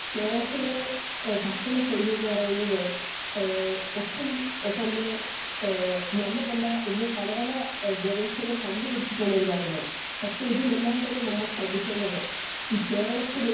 speaker 2 കേരളത്തിലെ ഭക്ഷണ ശൈലി എന്ന് പറയുന്നത് ഹേ ഒട്ടും തന്നെ ഏഹ് നല്ലതല്ല എന്ന് പല പല ഗവേഷകർ കണ്ട് പിടിച്ചിട്ടുള്ള ഒര് കാര്യമാണ് പക്ഷെ ഇതിലെല്ലാം നമ്മൾ ശ്രെദ്ധിക്കേണ്ടത് ഈ കേരളത്തില്